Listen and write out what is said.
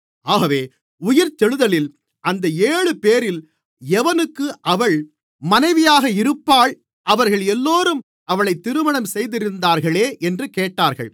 ஆகவே உயிர்த்தெழுதலில் அந்த ஏழுபேரில் எவனுக்கு அவள் மனைவியாக இருப்பாள் அவர்கள் எல்லோரும் அவளைத் திருமணம் செய்திருந்தார்களே என்று கேட்டார்கள்